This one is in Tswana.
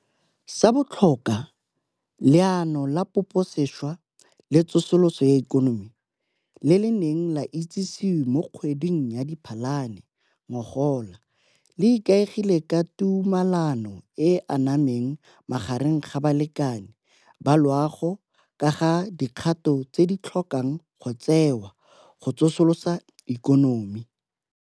Sa botlhokwa, Leano la Poposešwa le Tsosoloso ya Ikonomi le le neng la itsisiwe mo kgweding ya Diphalane ngogola le ikaegile ka tumalano e e anameng magareng ga balekane ba loago ka ga dikgato tse di tlhokang go tsewa go tsosolosa ikonomi.